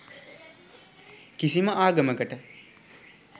කිසිම ආගමකට